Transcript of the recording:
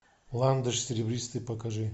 ландыш серебристый покажи